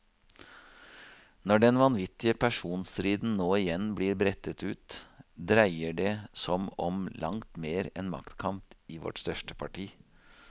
Når den vanvittige personstriden nå igjen blir brettet ut, dreier det som om langt mer enn maktkamp i vårt største parti.